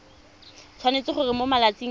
tshwanetse gore mo malatsing a